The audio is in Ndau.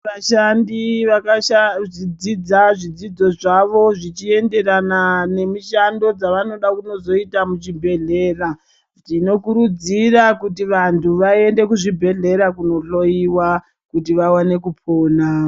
Vashandi vakashadzidza zvidzidzo zvavo zvichienderana nemishando dzawo dzevanoda kunozonoita muzvibhedhlera, tinokurudzira kuti vantu vaende kuzvibhedhlera kundohloyiwa kuti vawane kupona.